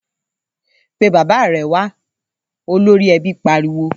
‘Pe bàbá re̩ wa!’, olórí e̩bí pariwo